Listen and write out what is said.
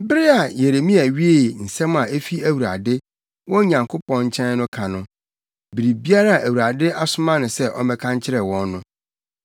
Bere a Yeremia wiee nsɛm a efi Awurade, wɔn Nyankopɔn nkyɛn no ka no, biribiara a Awurade asoma no sɛ ɔmmɛka nkyerɛ wɔn no,